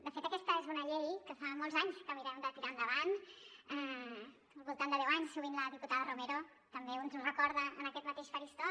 de fet aquesta és una llei que fa molts anys que mirem de tirar endavant al voltant de deu anys sovint la diputada romero també ens ho recorda en aquest mateix faristol